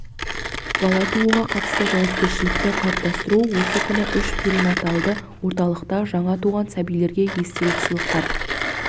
бала тууға қатысты жауапкершілікті қалыптастыру осы күні үш перинаталды орталықта жаңа туған сәбилерге естелік сыйлықтар